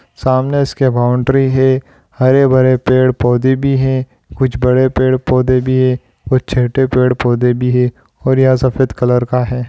सामने इसके बाउंड्री हे हरे भरे पेड़ पौधे भी हे कुछ बड़े पेड़ पौधे भी हे और छठे पेड़ पौधे भी हे और यह सफेद कलर का है।